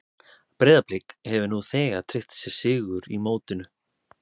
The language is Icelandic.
Breiðablik hefur nú þegar tryggt sér sigur í mótinu.